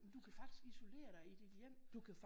Du kan faktisk isolere dig i dit hjem